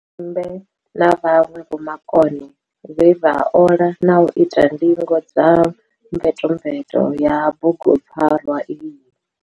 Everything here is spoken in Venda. Tshipembe na vhanwe vhomakone vhe vha ola na u ita ndingo dza mvetomveto ya bugu pfarwa iyi.